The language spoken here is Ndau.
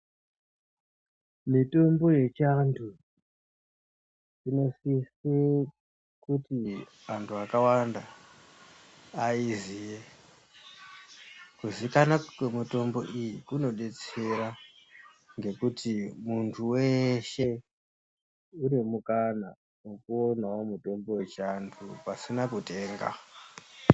Mitombo yechiantu inosise kuti antu akawanda ayiziye. Kuzikanwa kwemitombo iyi kunodetsera ngekuti munhu weshe une mukana wekuonawo mutombo wechiantu pasina kutenga.